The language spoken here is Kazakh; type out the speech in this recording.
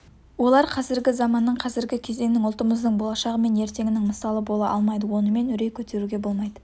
олар қазіргі заманның қазіргі кезеңнің ұлтымыздың болашағы мен ертеңінің мысалы бола алмайды онымен үрей көтеруге болмайды